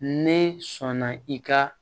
Ne sɔnna i ka